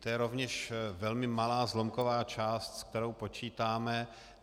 To je rovněž velmi malá, zlomková část, s kterou počítáme.